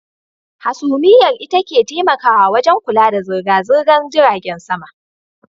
Hasumiyar ita ke taimakawa wajen kula da zirga-zirgan jiragen sama.